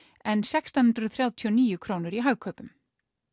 en sextán hundruð þrjátíu og níu krónur í Hagkaupum